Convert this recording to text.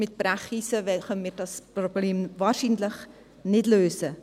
mit Brecheisen können wir das Problem wahrscheinlich nicht lösen.